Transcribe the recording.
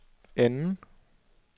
anden